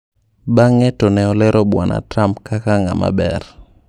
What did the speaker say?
Bang'e to ne olero Bwana Trump kak "ng'ama ber"